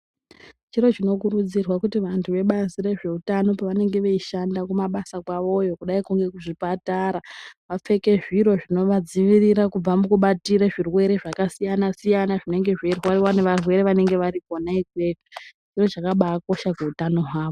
Chiro chinokurudzira kuti vantu vebazi rezveutano pavanenge veishanda kumabasa kwawoyo kudai kune zvipatara vapfeke zviro zvinovadziirira kubva mukubatire zvirwere zvakasiyanasiyana zvinenge zveirwariwa nevarwere vanenge vari kona ikweyo ndizvo zvakabaakosha kuutano hwavo.